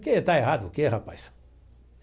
Que, está errado o quê, rapaz?